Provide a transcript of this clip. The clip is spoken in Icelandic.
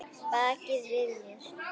Baki við mér?